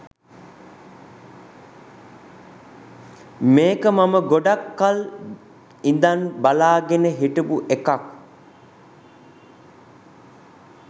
මේක මම ගොඩක් කල් ඉදන් බලාගෙන හිටපු එකක්